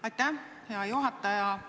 Aitäh, hea juhataja!